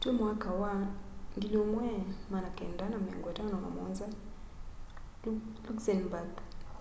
twî 1957 luxembourg